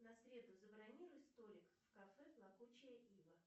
на среду забронируй столик в кафе плакучая ива